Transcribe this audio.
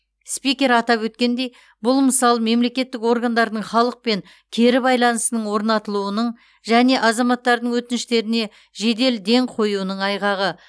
спикер атап өткендей бұл мысал мемлекеттік органдардың халықпен кері байланысының орнатылуының және азаматтардың өтініштеріне жедел ден қоюының айғағы